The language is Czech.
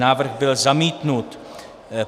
Návrh byl zamítnut.